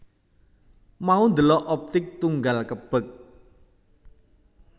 Mau ndelok Optik Tunggal kebek